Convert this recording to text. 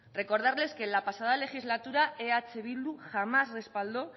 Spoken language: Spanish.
recordarles que en la pasada legislatura eh bildu jamás respaldó